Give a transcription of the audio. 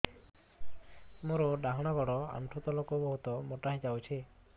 ମୋର ଡାହାଣ ଗୋଡ଼ ଆଣ୍ଠୁ ତଳକୁ ବହୁତ ମୋଟା ହେଇଯାଉଛି